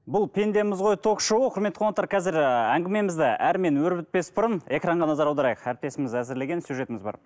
бұл пендеміз ғой ток шоуы құрметті қонақтар қазір і әңгімемізді әрмен өрбітпес бұрын экранға назар аударайық әріптесіміз әзірлеген сюжетіміз бар